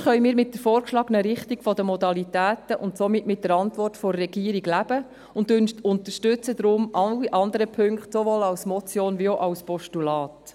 Ansonsten können wir mit der vorgeschlagenen Richtung der Modalitäten und somit mit der Antwort der Regierung leben und unterstützen deshalb alle anderen Punkte als Motion wie auch als Postulat.